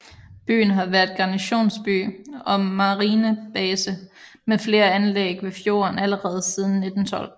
Byen har været garnisonsby og marinebase med flere anlæg ved fjorden allerede siden 1912